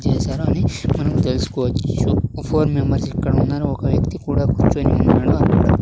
చేశారు అని మనం తెలుసుకోవచ్చు ఒక ఫోర్ మెంబర్స్ ఇక్కడ ఉన్న ఒక వ్యక్తి కూడా కూర్చుని ఉన్నాడు అక్కడ --